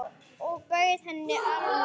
Og bauð henni arminn.